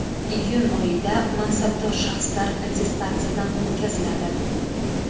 Iyun oyida mansabdor shaxslar attestatsiyadan o‘tkaziladi.